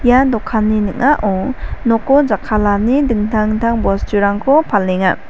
ia dokanni ning·ao noko jakkalani dingtang dingtang bosturangko palenga.